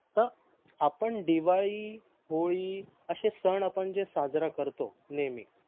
तर आपण दिवाळी होडी आशे सन आपण जे साजरा करतो नेहमी